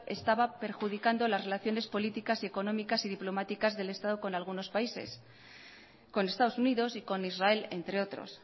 estaba perjudicando las relaciones políticas económicas y diplomáticas del estado con algunos países con estados unidos y con israel entre otros